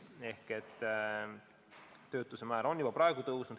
Töötus on juba praegu tõusnud.